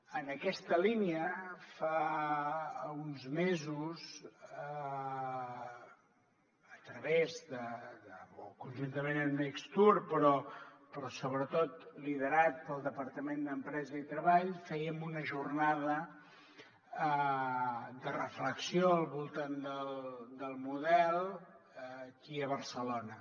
en aquesta línia fa uns mesos a través de o conjuntament amb necstour però sobretot liderat pel departament d’empresa i treball fèiem una jornada de reflexió al voltant del model aquí a barcelona